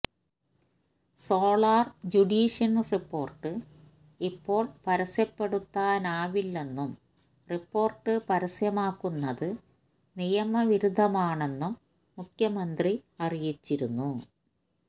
solar ജുഡീഷന് report ഇപ്പോള് പരസ്യപ്പെടുത്താനാവില്ലെന്നും റിപ്പോര്ട്ട് പരസ്യമാക്കുന്നത് നിയമ വിരുദ്ധമാണെന്നും മുഖ്യമന്ത്രി അറിയിച്ചിരുന്നു